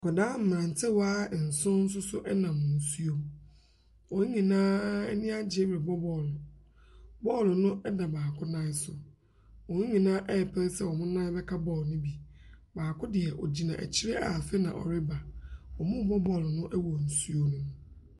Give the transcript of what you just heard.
Nkwadaa mmerantewa nson nso so nam nsuom. Wɔn nyinaa ani agye rebɔ ball. Bɔɔlo no da baako nan so. Wɔn nyinaa repere sɛ wɔn nan bɛka ball no bi. Baako deɛ ɔgyina akyire a afeɛ na ɔrebɔ. Wɔrebɔ bɔɔlo no wɔ nsuo mu.